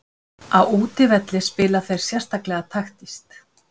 Á útivelli spila þeir sérstaklega taktískt.